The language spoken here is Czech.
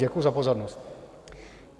Děkuji za pozornost.